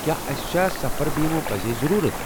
کیٛاہ اسہِ چھا سفر بیمہٕ پزی ضروُرت؟